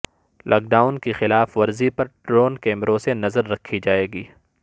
lock down کی خلاف ورزی پر ڈرون کیمروں سے نظر رکھی جائیگی